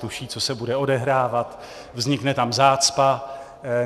Tuší, co se bude odehrávat, vznikne tam zácpa.